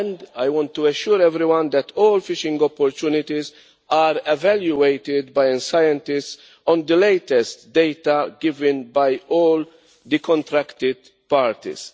I want to assure everyone that all fishing opportunities are evaluated by scientists on the latest data given by all contracting parties.